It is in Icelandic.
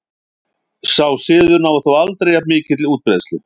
Sá siður náði þó aldrei jafn mikilli útbreiðslu.